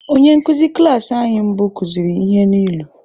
Onye nkụzi klas anyị mbụ kụziri ihe n’ilu.